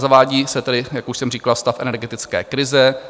Zavádí se tedy, jak už jsem říkal, stav energetické krize.